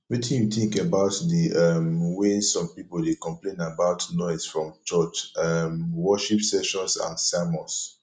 wetin you think about di um way some people dey complain about noise from church um worship sessions and sermons